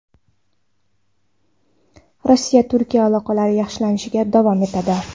Rossiya-Turkiya aloqalari yaxshilanishda davom etadi.